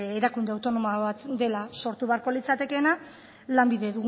erakunde autonomo bat dela sortu beharko litzatekeena lanbide